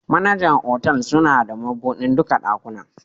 Manajar otal suna da mabudin dukan dakunan.